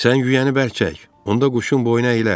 Sən yüyəni bərk çək, onda quşun boynu əyilər.